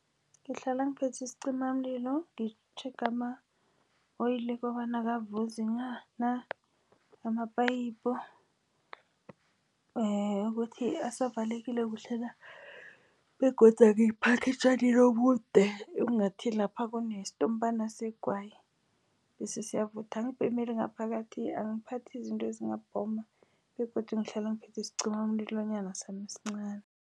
Ngihlala ngiphathe isicimamlilo, ngitjhege ama-oil kobana akavuzi na, nama-pipe ukuthi asivalekile kuhle na, begodu angiyiphagi etjanini obude engathi lapha kunesitompana segwayi, bese siyavutha. Angibhemeli ngaphakathi, angiphathi izinto ezingabhoma begodu ngihlala ngiphethe isicimamlilo sami esincani.